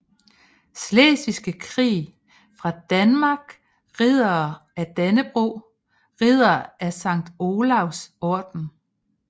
Slesvigske Krig fra Danmark Riddere af Dannebrog Riddere af Sankt Olavs Orden